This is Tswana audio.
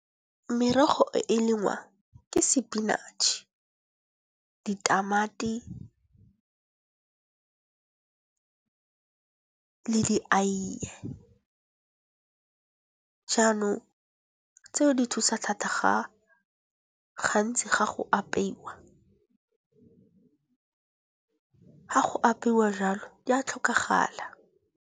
Merogo e lengwa ke spinach, ditamati, le dieie. Jaanong tseo di thusa thata gantsi ga go apeiwa, ga go apeiwa jalo di a tlhokagala.